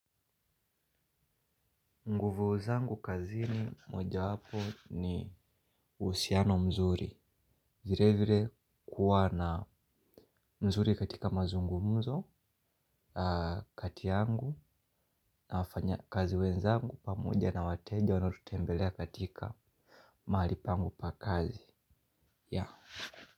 Nguvu zangu kazini moja wapo ni usiano mzuri vire vire kuwa na mzuri katika mazungumuzo kati yangu na wafanya kazi wenzangu pamoja na wateja wanaotutembelea katika mahali pangu pa kazi.